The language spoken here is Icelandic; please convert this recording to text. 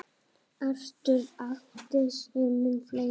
Arthur átti sér mun fleiri.